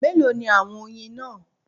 Mélòó ni àwọn oyin náà